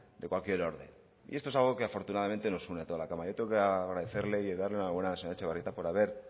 de cualquier orden y esto es algo que afortunadamente nos une a toda la cámara yo tengo que agradecerle y darle la enhorabuena a la señora etxebarrieta por haber